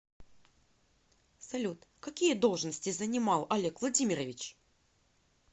салют какие должности занимал олег владимирович